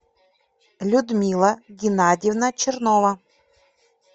людмила геннадьевна чернова